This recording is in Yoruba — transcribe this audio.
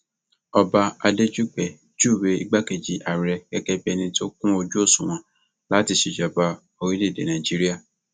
ọba adéjúgbẹ júwe igbákejì ààrẹ gẹgẹ bíi ẹni tó kún ojú òṣùwọn láti ṣèjọba orílẹèdè nàíjíríà